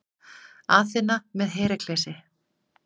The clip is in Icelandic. Aþena með Heraklesi.